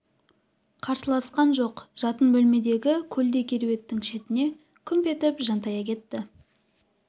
қарсыласқан жоқ жатын бөлмедегі көлдей кереуеттің шетіне күмп етіп жантая кетті